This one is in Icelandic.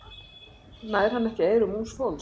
Nær hann ekki eyrum ungs fólks?